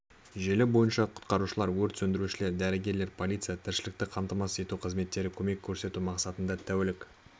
желі бойынша құтқарушылар өрт сөндірушілер дәрігерлер полиция тіршілікті қамтамасыз ету қызметтері көмек көрсету мақсатында тәулік